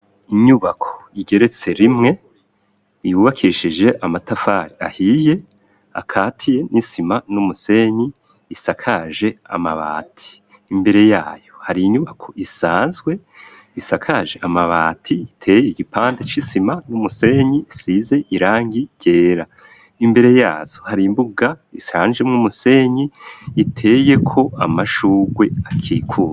Inyubako igeretse rimwe, yubakishije amatafari ahiye, akatiye n'isima n'umusenyi, isakaje amabati. Imbere yayo, hari inyubako isanzwe, isakaje amabati iteye igipande c'isima n'umusenyi isize irangi ryera. Imbere yazo hari imbuga isanje mw'umusenyi iteye ko amashugwe akikuje.